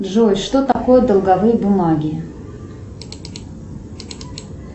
джой что такое долговые бумаги